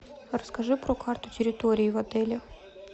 расскажи про карту территории в отеле